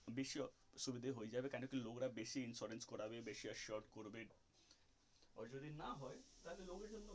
বেশি অসুবিধে হয়ে যাবে কোনো কি লোকরা বেশি insurance করাবে বেশি assured করবে আর যদি না হয় তাহলে লোকের জন্য.